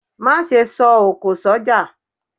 Má sẹ́ sọ òkọ̀ sọjá